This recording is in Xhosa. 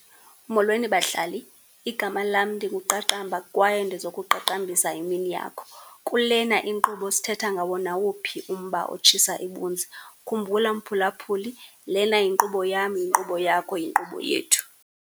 Molweni, bahlali. Igama lam ndinguQaqamba kwaye ndizokuqaqambisa imini yakho. Kule inkqubo sithetha ngawo nawuphi na umba otshisa ibunzi. Khumbula mphulaphuli, lena yinkqubo yam, yinkqubo yakho, yinkqubo yethu.